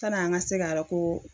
Tan'an ka se karɔ ko